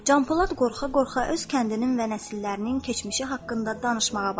Can Polad qorxa-qorxa öz kəndinin və nəsillərinin keçmişi haqqında danışmağa başladı.